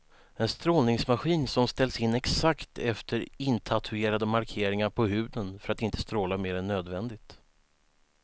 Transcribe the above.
En strålningsmaskin som ställs in exakt efter intatuerade markeringar på huden för att inte stråla mer än nödvändigt.